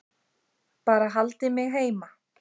Bara haldið mig heima!